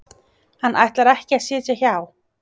Hann ætlar ekki að sitja hjá